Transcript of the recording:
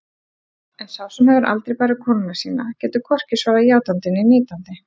En sá sem hefur aldrei barið konuna sína getur hvorki svarað játandi né neitandi.